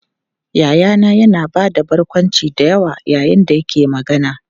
Yayana yana ba da barkwanci da yawa yayin da yake magana.